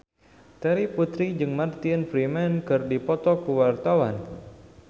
Terry Putri jeung Martin Freeman keur dipoto ku wartawan